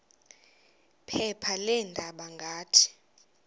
phepha leendaba ngathi